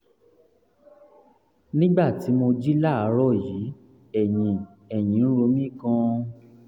nígbà tí mo jí láàárọ̀ yìí ẹ̀yìn ẹ̀yìn ń ro mí gan-an